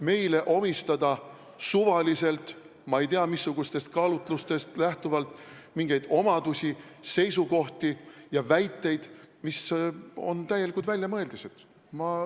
Meile omistatakse suvaliselt ja ma ei tea, missugustest kaalutlustest lähtuvalt mingeid omadusi, seisukohti ja väiteid, mis on täielikud väljamõeldised.